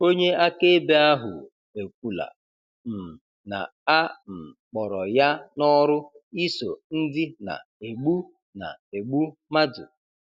Onye akaebe ahu ekwụla um na a um kpọrọ ya n'ọrụ iso ndi na egbu na egbu madu